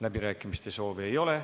Läbirääkimiste soovi ei ole.